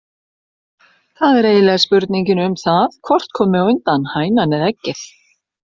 Það er eiginlega spurningin um það hvort komi á undan, hænan eða eggið.